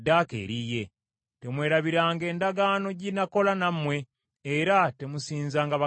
Temwerabiranga endagaano gye nakola nammwe, era temusinzanga bakatonda abalala.